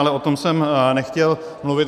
Ale o tom jsem nechtěl mluvit.